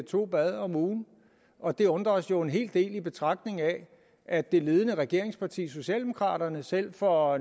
to bade om ugen og det undrer os jo en hel del i betragtning af at det ledende regeringsparti socialdemokraterne selv for